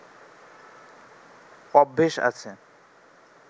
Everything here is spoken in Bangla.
অভ্যেস আছে